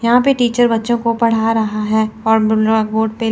यहां पे टीचर बच्चों को पढ़ रहा है और ब्लैकबोर्ड पे--